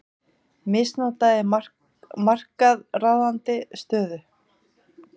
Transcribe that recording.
Misnotaði markaðsráðandi stöðu